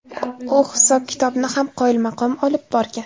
U hisob-kitobni ham qoyilmaqom olib borgan.